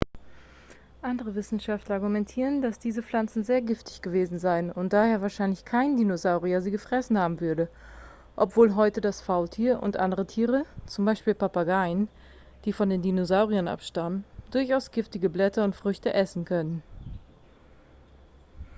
andere wissenschaftler argumentieren dass diese pflanzen sehr giftig gewesen seien und daher wahrscheinlich kein dinosaurier sie gefressen haben würde obwohl heute das faultier und andere tiere z. b. papageien die von den dinosauriern abstammen durchaus giftige blätter und früchte essen können